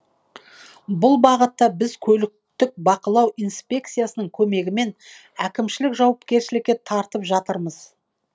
бұл бағытта біз көліктік бақылау инспекциясының көмегімен әкімшілік жауапкершілікке тартып жатырмыз